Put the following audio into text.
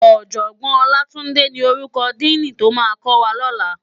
Òjògbòn Olatunde ni órúkò dìní tó má kòwá lòlá